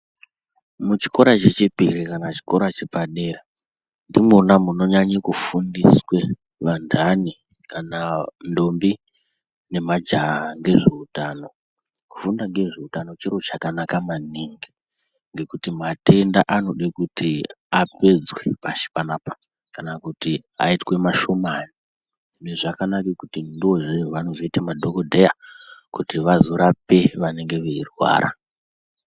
Muchikora chechipiri kana chikora chepadera ndimwona munonyanye kufundiswe vanhani kana ndombi nemajaha ngezveutano kufunda ngezveutano chiro chakanaka maningi ngekuti matenda anode kuti apedzwe pashi panapa kana kuiti aitwe mashomani hino zvakanaka kuti ndiwo anozoite madhokodheya kuti vazorape vanenge veirwara.